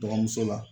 Dɔgɔmuso la